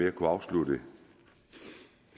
at kunne afslutte